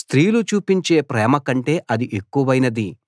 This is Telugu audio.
స్త్రీలు చూపించే ప్రేమ కంటే అది ఎక్కువైనది